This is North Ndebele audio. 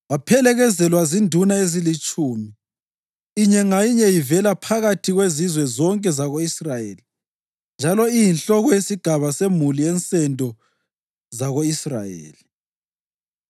Waphelekezelwa zinduna ezilitshumi, inye ngayinye ivela phakathi kwezizwe zonke zako-Israyeli njalo iyinhloko yesigaba semuli yensendo zako-Israyeli.